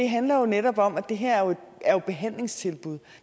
handler netop om at det her er behandlingstilbud